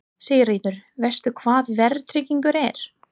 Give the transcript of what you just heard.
Sigríður: Veist þú hvað verðtrygging er?